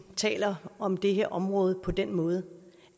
taler om det her område på den måde